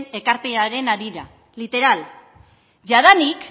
ekarpenaren harira literal jadanik